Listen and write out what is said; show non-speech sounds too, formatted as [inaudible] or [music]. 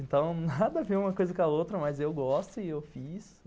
Então, [laughs] nada a ver uma coisa com a outra, mas eu gosto e eu fiz.